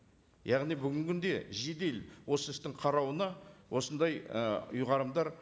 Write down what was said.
яғни бүгінгі күнде жедел осы істің қарауына осындай і ұйғарымдар